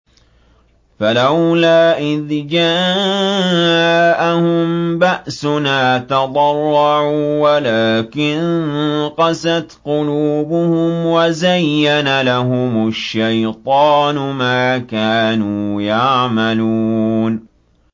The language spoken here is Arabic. فَلَوْلَا إِذْ جَاءَهُم بَأْسُنَا تَضَرَّعُوا وَلَٰكِن قَسَتْ قُلُوبُهُمْ وَزَيَّنَ لَهُمُ الشَّيْطَانُ مَا كَانُوا يَعْمَلُونَ